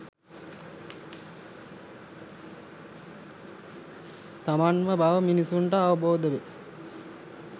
තමන්ම බව මිනිස්සුන්ට අවබෝධ වේ.